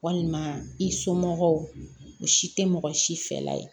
Walima i somɔgɔw o si tɛ mɔgɔ si fɛla ye